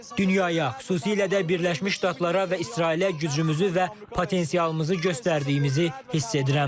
Dünyaya, xüsusilə də Birləşmiş Ştatlara və İsrailə gücümüzü və potensialımızı göstərdiyimizi hiss edirəm.